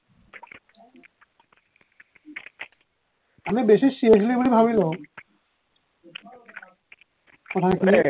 আমি বেছি seriously বুলি ভাৱি লও কথা পাতি পেলাই